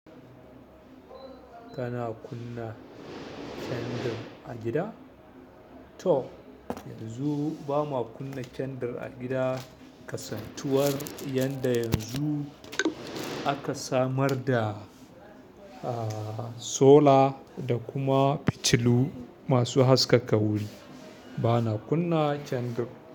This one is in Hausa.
Kana kunna candle a gida? To yanzu ba ma kunna candle a gida kasasatuwar, yanda yanzu aka samar da, ah, solar da kuma fitilu masu haskaka wuri. Bana kunna candle.